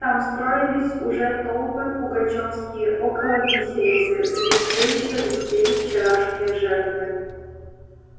там строились уже толпы пугачёвские около виселицы где все ещё висели вчерашние жертвы